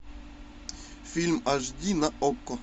фильм аш ди на окко